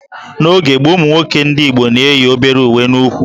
N'oge gboo, ụmụ nwoke ndị Igbo na-eyi obere uwe n'úkwù